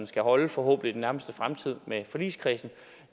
skal holde forhåbentlig nærmeste fremtid med forligskredsen